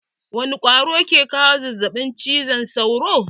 Wani ƙwaro ke kawo zazzaɓin cizon sauro?